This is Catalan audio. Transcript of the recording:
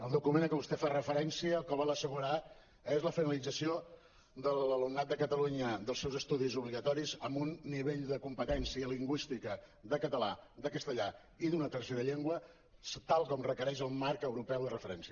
el document a què vostè fa referència el que vol assegurar és la finalització de l’alumnat de catalunya dels seus estudis obligatoris amb un nivell de competència lingüística de català de castellà i d’una tercera llengua tal com requereix el marc europeu de referència